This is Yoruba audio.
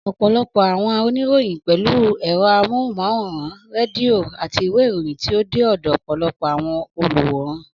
Ọ̀pọ̀lọpọ̀ àwọn oníròyìn pẹ̀lú ẹ̀rọ amóhùnmáwòrán, rédíò, àti ìwé ìròyìn tí ó dé ọ̀dọ̀ ọ̀pọ̀lọpọ̀ àwọn olùwòran.